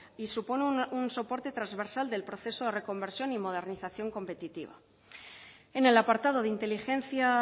y supone un soporte transversal del proceso de reconversión y modernización competitiva en el apartado de inteligencia